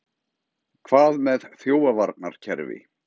Hvað með þjófavarnarkerfi?